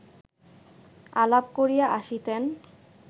আলাপ করিয়া আসিতেন